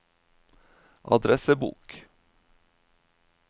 adressebok